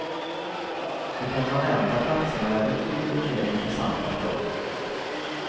De permanenta platserna är betydligt mer intressanta för oss.